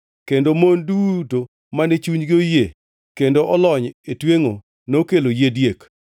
Kendo mon duto mane chunygi oyie kendo olony e twengʼo nokelo yie diek.